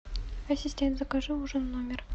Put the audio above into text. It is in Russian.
ассистент закажи ужин в номер